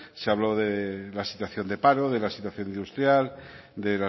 se habló de la situación de paro de la situación industria